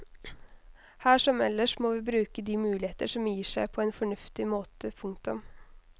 Her som ellers må vi bruke de muligheter som gir seg på en fornuftig måte. punktum